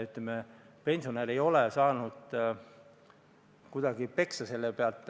Ütleme, et pensionär ei ole selle pealt kuidagi peksa saanud.